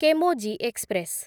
Chemmozhi express